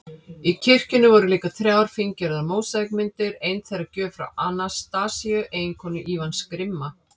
Í kirkjunni voru líka þrjár fíngerðar mósaíkmyndir, ein þeirra gjöf frá Anastasíu, eiginkonu Ívans grimma